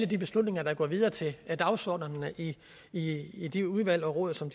de beslutninger der går videre til dagsordenerne i i de udvalg og råd som